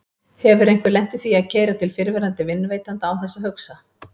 Hefur einhver lent í því að keyra til fyrrverandi vinnuveitanda án þess að hugsa?